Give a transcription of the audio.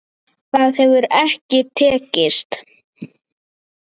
Það hefur ekki tekist.